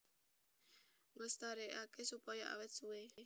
Nglestarékaké supaya awét suwé